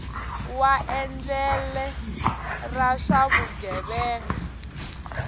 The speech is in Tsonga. wa endlele ra swa vugevenga